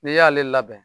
N'i y'ale labɛn